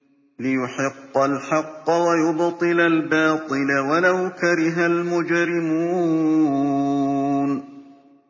لِيُحِقَّ الْحَقَّ وَيُبْطِلَ الْبَاطِلَ وَلَوْ كَرِهَ الْمُجْرِمُونَ